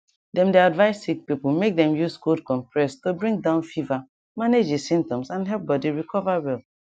dem de advice sick people make dem use cold compress to bring down fever manage di symptoms and help body recover well